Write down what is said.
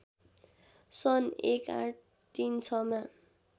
सन् १८३६ मा